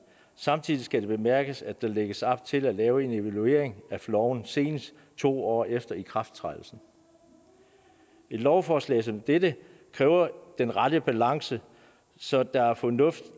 samtidig skal det bemærkes at der lægges op til at lave en evaluering af loven senest to år efter ikrafttrædelsen et lovforslag som dette kræver den rette balance så der er fornuft